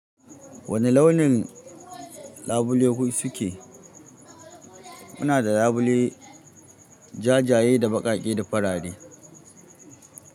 Wane launin labule ku suke? Muna da labule jajaye da baƙake da faraɗe.